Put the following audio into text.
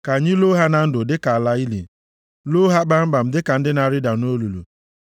Ka anyị loo ha na ndụ, dịka ala ili, loo ha kpamkpam dịka ndị na-arịda nʼolulu.